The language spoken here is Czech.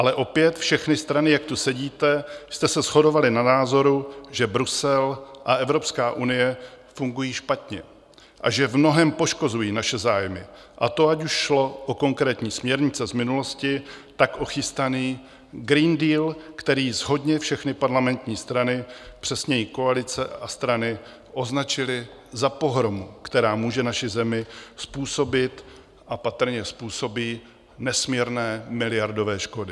Ale opět, všechny strany, jak tu sedíte, jste se shodovaly na názoru, že Brusel a Evropská unie fungují špatně a že v mnohém poškozují naše zájmy, a to ať už šlo o konkrétní směrnice z minulosti, tak o chystaný Green Deal, který shodně všechny parlamentní strany, přesněji koalice a strany, označily za pohromu, která může naší zemi způsobit a patrně způsobí nesmírné, miliardové škody.